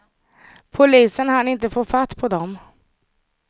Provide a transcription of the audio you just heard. Polisen hann inte få fatt på dem.